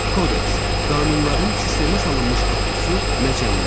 Kodeks qanunların sistemə salınmış toplusu, məcəllə.